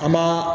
An b'a